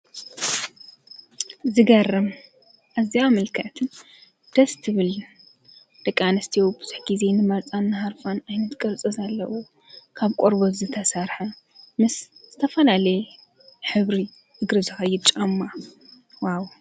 ዝገርም እዚኣ ምልክዕትን ደስ ትብል ደቂ ኣንስቲዮ ብዙሕ ጊዜ ንመርፆን ንሃርፋን ኣይነት ቅርጸ ዘለዉ ካብ ቈርበት ዝተሰርሐ ምስ ዝተፈላለየ ኅብሪ እግሪ ዝከይድ ጫማ ዋው፣